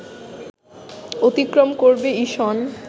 অতিক্রম করবে ইসন